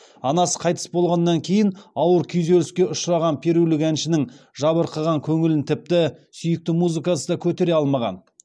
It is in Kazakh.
анасы қайтыс болғаннан кейін ауыр күйзеліске ұшыраған перулік әншінің жабырқаған көңілін тіпті сүйікті музыкасы да көтере алмаған